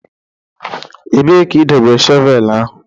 Ebee ka ị dobere shọvel ahụ?